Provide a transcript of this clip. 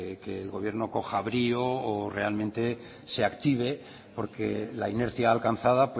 que el gobierno coja brío o realmente se active porque la inercia alcanzada